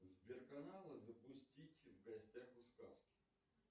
сбер каналы запустить в гостях у сказки